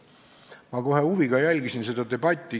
Ma kohe huviga jälgisin seda debatti.